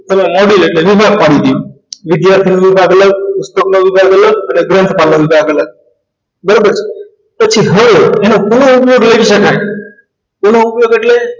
module એટલે બરાબર પછી હ આની પૂરો સકાઈ એનો ઉપયોગ એટલે